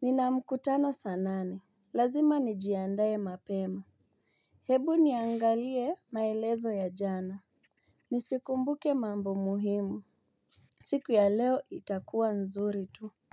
Nina mkutano sanane. Lazima ni jiandaye mapema. Hebu niangalie maelezo ya jana. Nisikumbuke mambo muhimu. Siku ya leo itakuwa nzuri tu.